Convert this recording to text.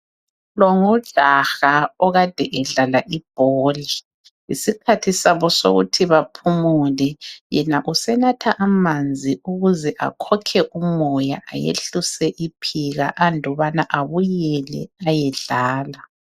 Lo ngujaha okade edlala ibhola ,yisikhathi sabo sokuthi baphumule .Yena usenatha amanzi ukuze akhokhe umoya ayehlise iphika ,andubana abuyele ayedlala.